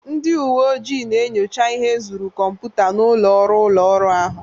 Ndị uwe ojii na-enyocha ihe ezuru kọmputa n'ụlọ ọrụ ụlọ ọrụ ahụ